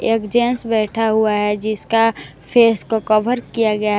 एक जेंट्स बैठा हुआ है जिसका फेस को कवर किया गया--